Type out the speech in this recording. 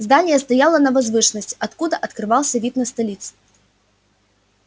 здание стояло на возвышенности откуда открывался вид на столицу